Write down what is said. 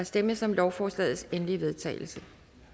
stemmes om lovforslagets endelige vedtagelse